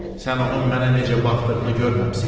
Sən onun mənə necə baxdığını görməmisən.